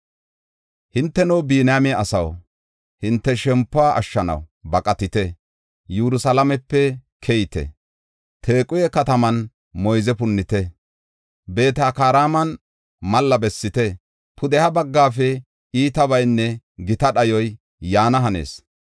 Hinteno, Biniyaame asaw, hinte shempuwa ashshanaw baqatite! Yerusalaamepe keyite! Taquhe kataman moyze punnite! Beet-Hakareeman malla bessite! Pudeha baggafe iitabaynne gita dhayoy yaana hanees.